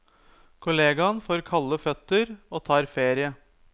Kollegaen får kalde føtter, og tar ferie.